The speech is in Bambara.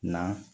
Na